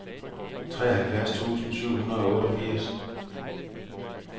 treoghalvfjerds tusind syv hundrede og otteogfirs